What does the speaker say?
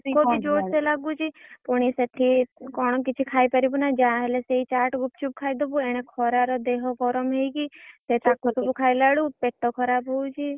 ଭୋକ ବି ଜୋର୍‌ସେ ଲାଗୁଛି ପୁଣି ସେଠି କଣ କିଛି ଖାଇପାରିବୁନା ଯାହା ହେଲେ ସେଇ ଚାଟ୍ ଗୁପଚୁପ୍ ଖାଇଦବୁ ଏଣେ ଖରାରେ ଦେହ ଗରମ ହେଇକି ପେଟ କଣ ହଉଛି।